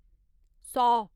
सौ